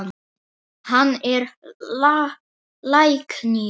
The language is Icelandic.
Hann er læknir.